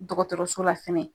Dɔgɔtɔrɔso la fɛnɛ.